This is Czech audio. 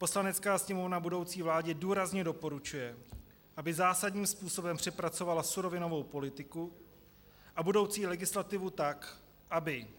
Poslanecká sněmovna budoucí vládě důrazně doporučuje, aby zásadním způsobem přepracovala surovinovou politiku a budoucí legislativu tak, aby